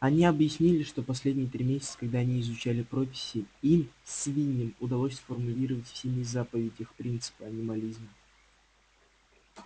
они объяснили что последние три месяца когда они изучали прописи им свиньям удалось сформулировать в семи заповедях принципы анимализма